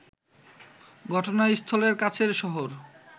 ঘটনাস্থলের কাছের শহর